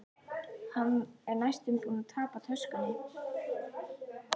Hann er næstum búinn að tapa töskunni.